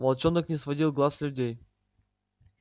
волчонок не сводил глаз с людей